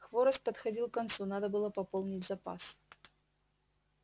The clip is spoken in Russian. хворост подходил к концу надо было пополнить запас